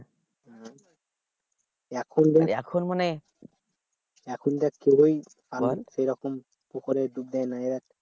এখন দেখ এখন মানে কেউই পুকুরে ডুব দেয় না